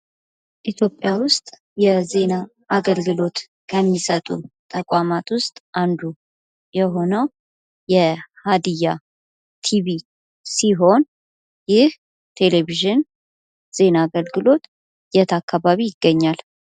ኢትዮጵያ ውስጥ የዜና አገልግሎት ከሚሰጡ ተቋማት ውስጥ አንዱ የሆነው የሃዲያ ቲቪ ሲሆን ይህ ቴሌቪዥን ዜና አገልግሎት የት አካባቢ ይገኛል?